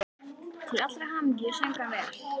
Til allrar hamingju söng hann vel!